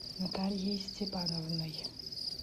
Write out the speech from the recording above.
натальей степановной